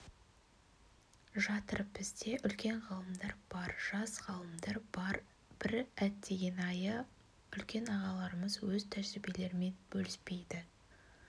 жатыр бізде үлкен ғалымдар бар жас ғалымдар бар бір әттеген-айы үлкен ағаларымыз өз тәжірибелерімен бөліспейді